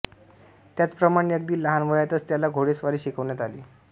त्याचप्रमाणे अगदी लहान वयातच त्याला घोडेस्वारी शिकवण्यात आली